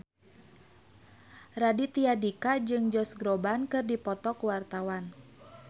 Raditya Dika jeung Josh Groban keur dipoto ku wartawan